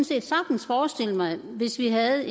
set sagtens forestille mig hvis vi havde